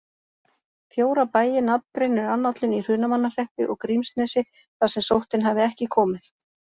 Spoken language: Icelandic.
Fjóra bæi nafngreinir annállinn í Hrunamannahreppi og Grímsnesi þar sem sóttin hafi ekki komið.